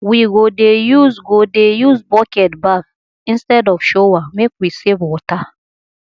we go dey use go dey use bucket baff instead of shower make we save water